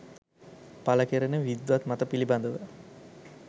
පළ කෙරෙන විද්වත් මත පිළිබඳව